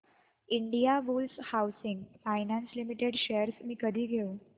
Indiabulls housing finance limited shares मी कधी घेऊ